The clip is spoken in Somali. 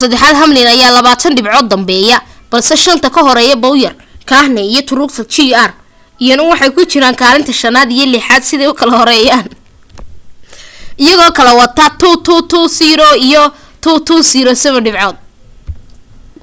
kaalinta saddexaad hamlin ayaa labaatan dhibcood danbeeya balse shan ka horeeya bowyer kahne iyo truex jr iyana waxay ku jiraan kaalinta shanaad iyo lixaad siday u kala horeeyaan iyagoo kala wata 2,220 iyo 2,207 dhibcood